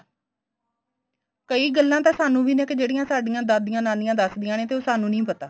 ਕਈ ਗੱਲਾ ਤਾਂ ਸਾਨੂੰ ਵੀ ਨੇ ਕੇ ਜਿਹੜੀਆਂ ਸਾਡੀਆਂ ਦਾਦੀਆਂ ਨਾਨੀਆਂ ਦੱਸਦੀਆਂ ਨੇ ਤੇ ਉਹ ਸਾਨੂੰ ਨਹੀਂ ਪਤਾ